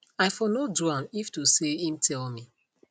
i for no do am if to say im tell me